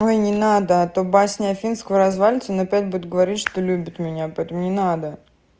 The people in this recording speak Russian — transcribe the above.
ой не надо а то басня афинского развалится он опять будет говорить что любит меня поэтому не надо